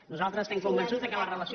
nosaltres estem convençuts que la relació